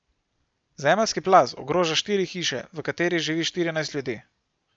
Zemeljski plaz ogroža štiri hiše, v katerih živi štirinajst ljudi.